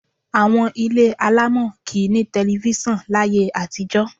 Àwọn ilé alámọ̀ kì í ní tẹlifíṣàn láyé àtijọ́.